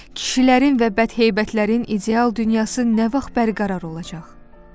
Kişilərin və bədheybətlərin ideal dünyası nə vaxt bərqərar olacaq?